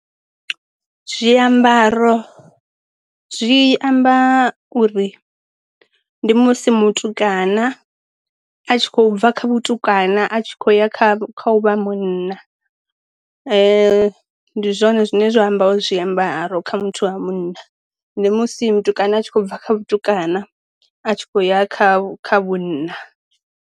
Zwiambaro zwi amba uri ndi musi mutukana a tshi khou bva kha mutukana a tshi khou ya kha u vha huna ndi zwone zwine zwa amba wa zwiambaro kha muthu wa munna ndi musi mutukana a tshi khou bva kha vhatukana a tshi khou ya kha kha vhunna.